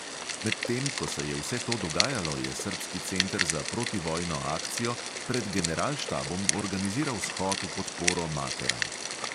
Medtem ko se je vse to dogajalo, je srbski center za protivojno akcijo pred generalštabom organiziral shod v podporo materam.